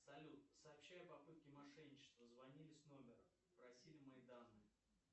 салют сообщи о попытке мошенничества звонили с номера просили мои данные